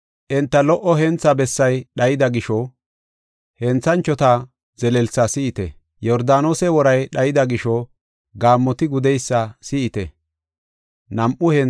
Enta lo77o hentha bessay dhayida gisho, Henthanchota zelelsa si7ite; Yordaanose woray dhayida gisho, Gaammoti gudeysa si7ite.